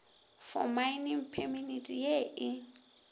for mining permit ye e